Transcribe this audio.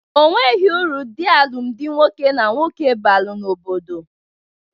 Onweghi uru dị alụmdi nwoke na nwoke balụ n'obodo.